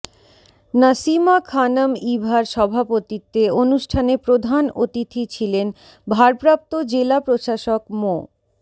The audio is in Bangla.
নাসিমা খানম ইভার সভাপতিত্বে অনুষ্ঠানে প্রধান অতিথি ছিলেন ভারপ্রাপ্ত জেলা প্রশাসক মো